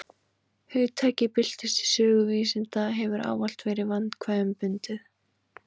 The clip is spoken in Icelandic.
Hugtakið bylting í sögu vísinda hefur ávallt verið vandkvæðum bundið.